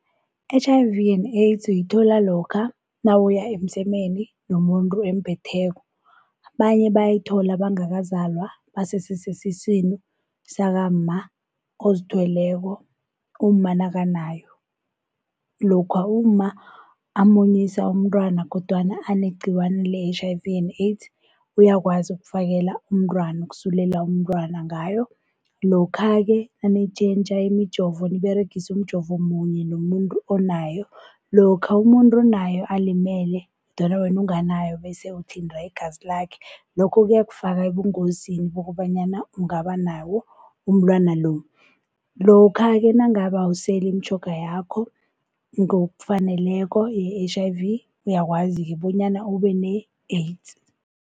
I-H_I_V and AIDS uyithola lokha nawuya emsemeni nomuntu emphetheko. Abanye bayithola bangakazalwa basese sesiswini sakamma ozithweleko umma nakanayo. Lokha umma amunyisa umntwana kodwana anegciwane le-H_I_V and AIDS uyakwazi ukufakela umntwana ukusulela umntwana ngayo. Lokha-ke nanitjhentjha imijovo niberegisa umjovo munye nomuntu onayo. Lokha umuntu onayo alimele kodwana wena unganayo bese uthinta igazi lakhe lokho kuyakufaka ebungozini bokobanyana ungaba nabo ubulwelwe lobu. Lokha-ke nangabe awuseli imitjhoga yakho ngokufaneleko ye-H_I_V uyakwazi bonyana ube ne-AIDS.